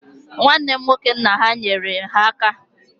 Nwanne nwoke nna ha nyere ha aka